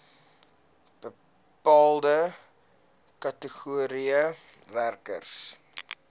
bepaalde kategorieë werkers